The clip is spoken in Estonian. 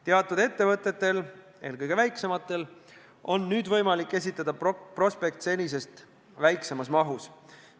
Teatud ettevõtetel, eelkõige väiksematel, on nüüd võimalik esitada prospekt senisest väiksemas mahus.